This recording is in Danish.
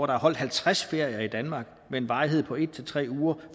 har holdt halvtreds ferier i danmark med en varighed på en tre uger